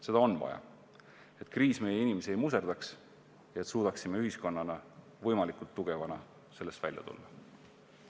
Seda on vaja, et kriis meie inimesi ei muserdaks ja et suudaksime ühiskonnana võimalikult tugevana sellest välja tulla.